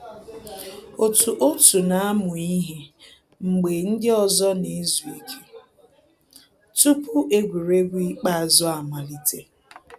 Otu òtù na-amụ ihe mgbe ndị ọzọ na-ezu ike tupu egwuregwu ikpeazụ amalite